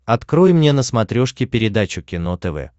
открой мне на смотрешке передачу кино тв